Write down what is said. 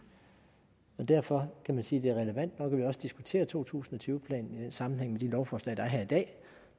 og derfor kan man sige at det er relevant nok at vi også diskuterer to tusind og tyve planen i sammenhæng med de lovforslag der er her i dag